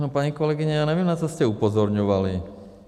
No paní kolegyně, já nevím, na co jste upozorňovali.